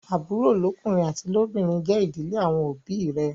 Àbúrò lọ́kùnrin àti lóbìnrin jé ìdílé àwọn òbí ì rẹ.